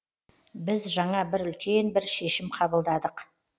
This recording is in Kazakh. біз жаңа бір үлкен бір шешім қабылдадық